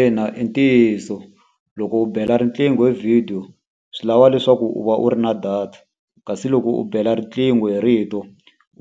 Ina i ntiyiso, loko u bela riqingho hi vhidiyo swi lava leswaku u va u ri na data. Kasi loko u bela riqingho hi rito,